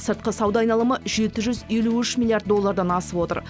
сыртқы сауда айналымы жеті жүз елу үш миллиард доллардан асып отыр